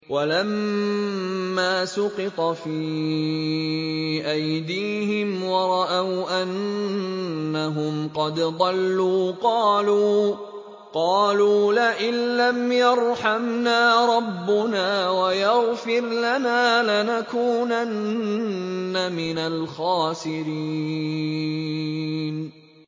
وَلَمَّا سُقِطَ فِي أَيْدِيهِمْ وَرَأَوْا أَنَّهُمْ قَدْ ضَلُّوا قَالُوا لَئِن لَّمْ يَرْحَمْنَا رَبُّنَا وَيَغْفِرْ لَنَا لَنَكُونَنَّ مِنَ الْخَاسِرِينَ